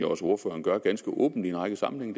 også ordføreren gør ganske åbent i en række sammenhænge